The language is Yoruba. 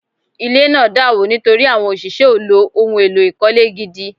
Ile naa dàwó nítorí àwọn òṣìṣẹ́ ò lò ohun èlò ìkọ́lé gidi